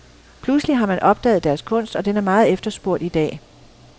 Pludselig har man opdaget deres kunst og den er meget efterspurgt i dag.